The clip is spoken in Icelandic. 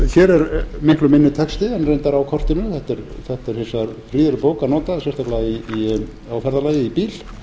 hér er miklu minni texti en reyndar á kortinu þetta er hins vegar prýðileg bók að nota sérstaklega á ferðalagi í bíl